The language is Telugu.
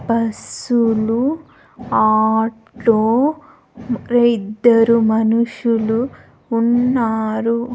బసులు ఆటో ఇద్దరు మనుషులు ఉన్నారు.